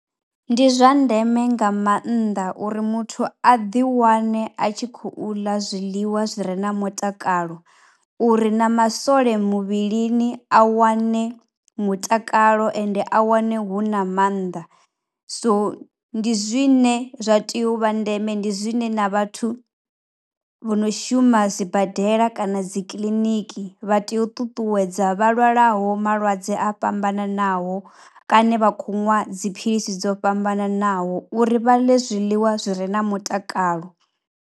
Ndi zwa ndeme nga maanḓa uri muthu a ḓiwane a tshi khou ḽa zwiḽiwa zwi re na mutakalo uri na masole muvhilini a wane mutakalo ende a wane hu na maanḓa. So ndi zwine zwa tea u vha ndeme, ndi zwine na vhathu vho no shuma dsibadela kana dzi kiliniki vha tea u ṱuṱuwedza vha lwalaho malwadze a fhambananaho kana vha khou nwa dziphilisi dzo fhambananaho uri vha ḽe zwiḽiwa zwi re na mutakalo.